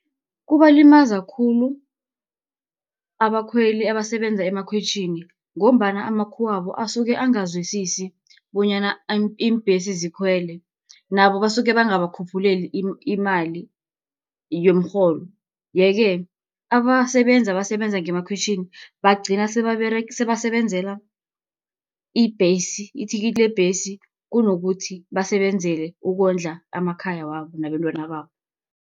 Kubalimaza khulu abakhweli abasebenza emakhwitjhini, ngombana amakhuwabo, asuke angazwisisi bonyana iimbhesi zikhwele, nabo basuke bangabakhuphuleli imali yomrholo. Yeke abasebenzi abasebenza ngemakhwitjhini bagcina sebasebenzela ibhesi, ithikithi lebhesi, kunokuthi basebenzele ukondla amakhaya wabo nabentwana babo.